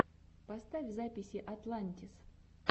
поставь записи атлантис